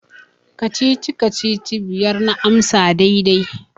Kacici-kacici biyar na amsa daidai.